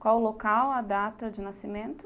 Qual o local, a data de nascimento?